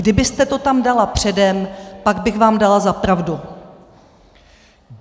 Kdybyste to tam dala předem, pak bych vám dala za pravdu.